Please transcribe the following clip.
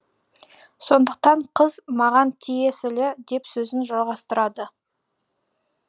сондықтан қыз маған тиесілі деп сөзін жалғастырады